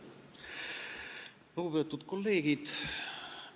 Lugupeetud kolleegid!